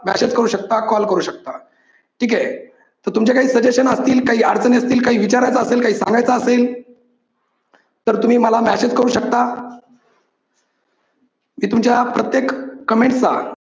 message करू शकता call करू शकता. ठीक आहे, तर तुमचे काही suggestions असतील, काही अडचणी असतील, काही विचारायचं असेल, काही सांगायचं असेल तर तुम्ही मला message करू शकता. मी तुमच्या प्रत्येक comment ला